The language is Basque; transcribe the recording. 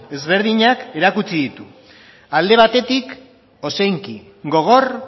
ezberdinak erakutsi ditu alde batetik ozenki gogor